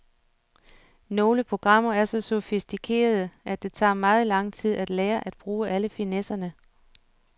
Nogle programmer er så sofistikerede, at det tager meget lang tid at lære at bruge alle finesserne.